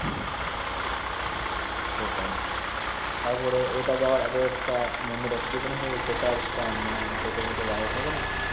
সেটাই তারপরে ওটা যাওয়ার আগে একটা মন রাশি যে কোন কার স্টান্ড মানে টোটো ফোট দাড়িয়ে থাকে না